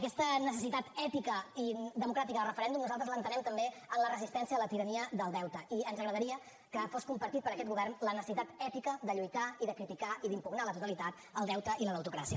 aquesta necessitat ètica i democràtica de referèndum nosaltres l’entenem també en la resistència a la tirania del deute i ens agradaria que fos compartida per aquest govern la necessitat ètica de lluitar i de criticar i d’impugnar el deute i la deutocràcia